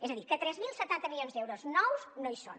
és a dir que tres mil setanta milions d’euros nous no hi són